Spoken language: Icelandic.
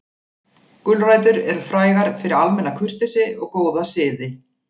Gulrætur eru frægar fyrir almenna kurteisi og góða siði.